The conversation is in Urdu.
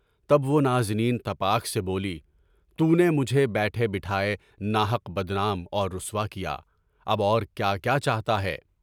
تب وہ نازنین تپاک سے بولی، تُونے مجھے بیٹھے بٹھائے ناحق بدنام اور رسوا کیا، اب اور کیا کیا چاہتا ہے؟